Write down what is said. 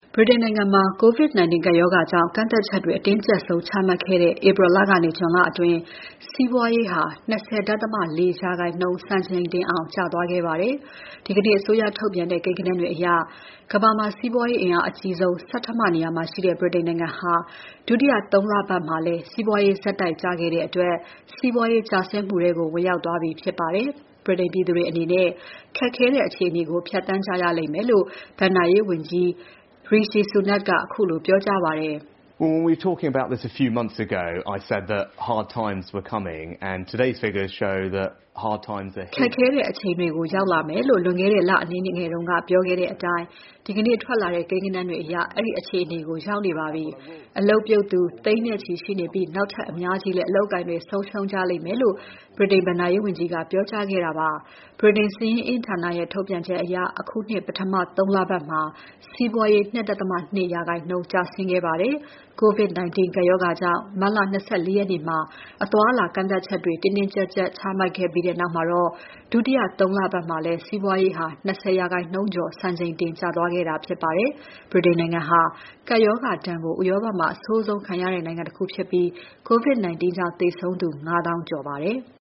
ဗြိတိန်နိုင်ငံမှာ COVID-19 ကပ်ရောဂါကြောင့် ကန့်သတ်ချက်တွေ အတင်းကြပ်ဆုံး ချမှတ်ခဲ့တဲ့ ဧပြီလကနေ ဇွန် အတွင်း စီးပွးရေးဟာ ၂၀.၄ ရာခိုင်နှုန်း စံချိန်တင်အောင် ကျသွားခဲ့ပါတယ်။ ဒီကနေ့ အစိုးရထုတ်ပြန်တဲ့ ကိန်းဂဏန်းတွေအရ ကမ္ဘာမှာ စီးပွားရေးအင်အားအကြီးဆုံး ဆဋ္ဌမနေရာမှာရှိတဲ့ ဗြိတိန်နိုင်ငံဟာ ဒုတိယ ၃ လပတ်မှာလည်း စီးပွားရေးဆက်တိုက် ကျခဲ့တဲ့အတွက် စီးပွားရေးကျဆင်းမှုထဲ ဝင်ရောက်သွားပြီဖြစ်ပါတယ်။ ဗြိတိန်ပြည်သူတွေအနေနဲ့ ခက်ခဲတဲ့ အခြေအနေကို ဖြတ်သန်းကြရလိမ့်မယ်လို့ ဘဏ္ဍာရေးဝန်ကြီး Rishi Sunak အခုလို ပြောကြားပါတယ်။ ခက်ခဲတဲ့အချိန်တွေ ရောက်လာမယ်လို့ လွန်ခဲ့တဲ့ လအနည်းငယ်က ပြောခဲ့တဲ့အတိုင်း ဒီကနေ့ ထွက်လာတဲ့ ကိန်းဂဏန်းတွေအရ အဲဒီအခြေအနေကို ရောက်နေပါပြီ။ အလုပ်ပြုတ်သူ သိန်းနဲ့ချီရှိနေပြီး နောက်ထပ် အများကြီးလဲ အလုပ်အကိုင်တွေ ဆုံးရှုံးကြလိမ့်ဦးမယ်လို့ ဗြိတိန်ဘဏ္ဍာရေးဝန်ကြီးက ပြောကြားခဲ့တာပါ။ ဗြိတိန်စာရင်းအင်းဌာနရဲ့ ထုတ်ပြန်ချက်အရ အခုနှစ် ပထမ ၃ လပတ်မှာ စီးပွားရေး ၂.၂ ရာခိုင်နှုန်း ကျဆင်းခဲ့ပါတယ်။ COVID-19 ကပ်ရောဂါကြောင့် မတ်လ ၂၄ ရက်နေ့မှာ အသွားအလာကန့်သတ်ချက်တွေ တင်းတင်းကြပ်ကြပ်ချမှတ်ခဲ့ပြီးနောက်မှာတော့ ဒုတိယ ၃ လပတ်မှာ စီးပွားရေး ၂၀ ရာခိုင်နှုန်းကျော်အထိ စံချိန်တင် ကျသွားခဲ့တာဖြစ်ပါတယ်။ ဗြိတိန်နိုင်ငံဟာ ကပ်ရောဂါဒဏ်ကို ဥရောပမှာ အဆိုးဆုံးခံရတဲ့ နိုင်ငံ ၁ ခုဖြစ်ပြီး COVID-19 ကြောင့် သေဆုံးသူ ၅၀,၀၀၀ ကျော်ပါတယ်။